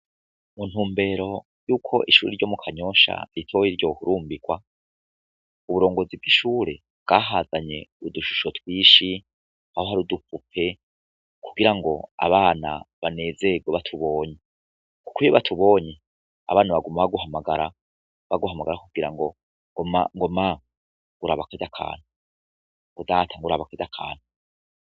Muntumbero yuko ishure ryo mu kanyosha ritoya ryohurumbirwa uburongozi bwishure bwahazanye udushusho twinshi, hari udupupe kugirango abana banezerwe batubonye kuko iyo batubonye abana baguma baguhamagara, baguhamagara bakubwira ngo ma raba karya kantu ngo data raba karya kantu.